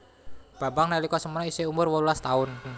Bambang nalika semono iseh umur wolulas tahun